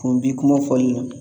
Kun bi kuma fɔli la.